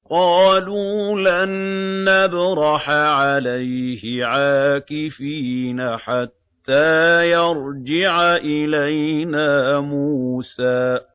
قَالُوا لَن نَّبْرَحَ عَلَيْهِ عَاكِفِينَ حَتَّىٰ يَرْجِعَ إِلَيْنَا مُوسَىٰ